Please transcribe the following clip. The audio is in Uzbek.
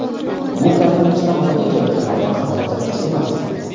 Bu koronavirusdan vafot etayotganlardan kam ko‘rsatkich emas.